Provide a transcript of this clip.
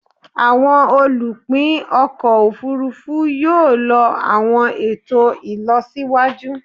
Awọn olupin ọkọ ofurufu yoo lo awọn eto ilọsiwaju